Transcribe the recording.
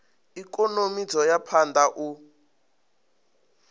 ikonomi dzo ya phanda u